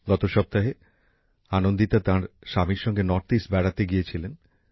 গত সপ্তাহে আনন্দিতা তার স্বামীর সঙ্গে উত্তরপূর্ব বেড়াতে গিয়েছিলেন